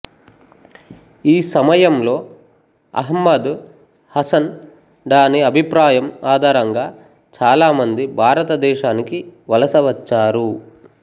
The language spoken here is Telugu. ఈ సమయంలో అహ్మదు హసను డాని అభిప్రాయం ఆధారంగా చాలామంది భారతదేశానికి వలస వచ్చారు